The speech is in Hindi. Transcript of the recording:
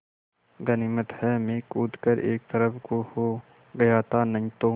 गनीमत है मैं कूद कर एक तरफ़ को हो गया था नहीं तो